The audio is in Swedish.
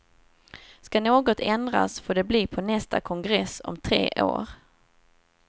Skall något ändras får det bli på nästa kongress om tre år.